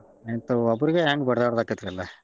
ಆಯ್ತು ಒಬ್ರಿಗೆನ್ ಬಡದಾಡೊದ ಅಕ್ಕೆತ್ರಿ ಎಲ್ಲಾ.